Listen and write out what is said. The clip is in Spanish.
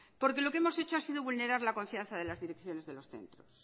porque lo que hemos hecho ha sido vulnerar la confianza de las direcciones de los centros